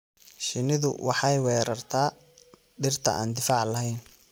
Shinnidu waxay weerartaa dhirta aan difaac lahayn.